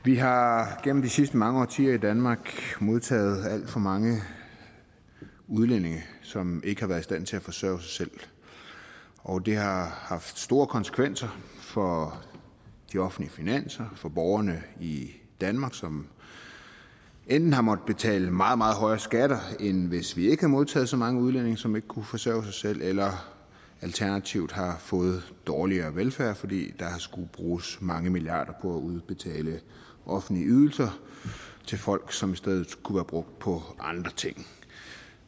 vi har gennem de sidste mange årtier i danmark modtaget alt for mange udlændinge som ikke har været i stand til at forsørge sig selv og det har haft store konsekvenser for de offentlige finanser og for borgerne i danmark som enten har måttet betale meget meget højere skatter end hvis vi ikke havde modtaget så mange udlændinge som ikke kunne forsørge sig selv eller alternativt har fået en dårligere velfærd fordi der skulle bruges mange milliarder udbetale offentlige ydelser til folk som i stedet kunne være brugt på andre ting